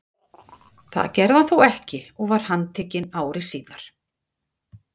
Það gerði hann þó ekki og var handtekinn ári síðar.